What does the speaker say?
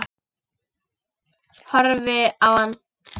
Horfi á hann.